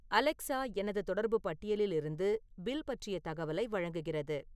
Alexa எனது தொடர்பு பட்டியலிலிருந்து பில் பற்றிய தகவலை வழங்குகிறது